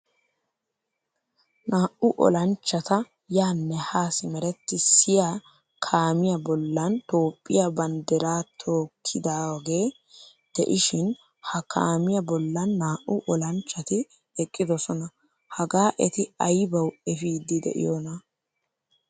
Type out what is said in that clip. Naa'u olanchchata yaane ha simerettisiyaa kaamiyaa bollan toophphiyaa banddira tokkidoge deishin ha kaamiyaa bollan naa'u olanchchati eqqidosona. Hagaa eti aybawu efidi deiyona?